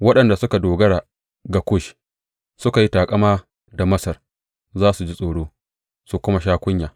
Waɗanda suka dogara ga Kush suka yi taƙama da Masar za su ji tsoro su kuma sha kunya.